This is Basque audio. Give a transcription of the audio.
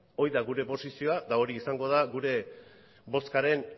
hori da gure posizioa eta hori izango da gure bozkaren